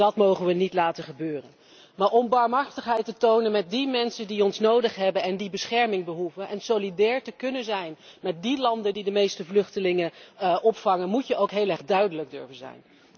Dat mogen we niet laten gebeuren. Maar om barmhartigheid te tonen met die mensen die ons nodig hebben en bescherming behoeven, en solidair te kunnen zijn met de landen die de meeste vluchtelingen opvangen, moet je ook heel erg duidelijk durven zijn.